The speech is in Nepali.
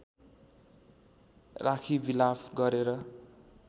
राखी विलाप गरेर